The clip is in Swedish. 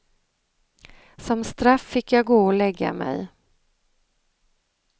Som straff fick jag gå och lägga mig.